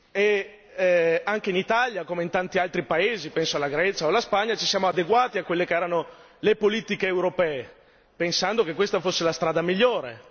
e anche in Italia, come in tanti altri paesi penso alla Grecia o alla Spagna ci siamo adeguati a quelle che erano le politiche europee, pensando che questa fosse la strada migliore.